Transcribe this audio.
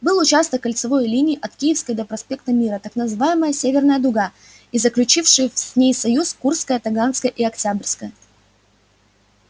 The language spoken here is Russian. был участок кольцевой линии от киевской до проспекта мира так называемая северная дуга и заключившие с ней союз курская таганская и октябрьская